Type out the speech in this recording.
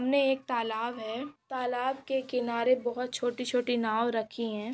सामने एक तालाब है। तालाब के किनारे बहुत छोटी- छोटी नाव रखी है।